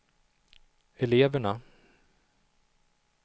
eleverna